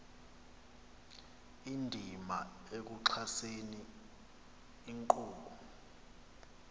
indima ekuxhaseni inkqubo